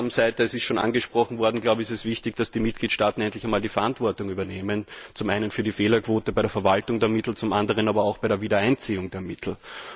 Auf der Ausgabenseite das wurde schon angesprochen ist es wichtig, dass die Mitgliedstaaten endlich die Verantwortung übernehmen zum einen für die Fehlerquote bei der Verwaltung der Mittel, zum anderen aber auch bei der Wiedereinziehung der Mittel.